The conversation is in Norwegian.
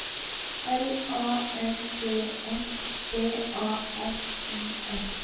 L A N D S B A S I S